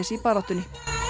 í baráttunni